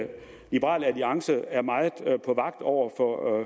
liberal alliance er meget på vagt over for